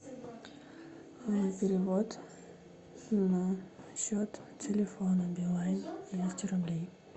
перевод на счет телефона билайн двести рублей